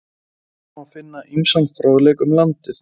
Þar má finna ýmsan fróðleik um landið.